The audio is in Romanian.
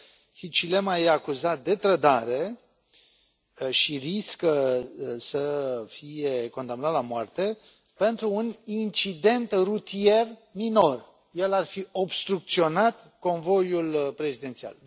Hichilema este acuzat de trădare și riscă să fie condamnat la moarte pentru un incident rutier minor el ar fi obstrucționat convoiul prezidențial.